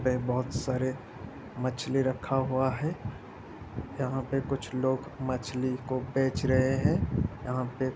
यहाँ पे बहुत सारे मछली रखा हुआ है यहा पे कुछ लोग मछली को बेच रहे हैं यहाँ पे --